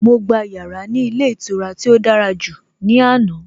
Mo gba yàrá ní ilé ìtura tí ó dára jù ní àná.